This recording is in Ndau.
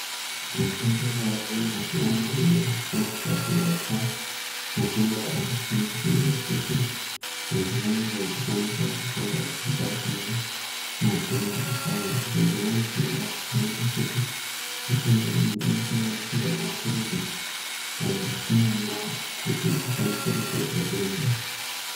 Mitombo yaveko mazuvaano inoshandiswa kurapa matenda akasiyana siyana kuti muntu unge uchikwanisa kupora kubva kunematenda aya dzimweni dzenguva tinowona kuti mitombo iyi inosanganisirwa mapirisi ,aya atinonwa kuti tikwanise kupedza denda.